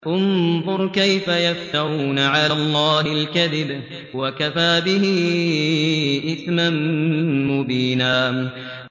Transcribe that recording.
انظُرْ كَيْفَ يَفْتَرُونَ عَلَى اللَّهِ الْكَذِبَ ۖ وَكَفَىٰ بِهِ إِثْمًا مُّبِينًا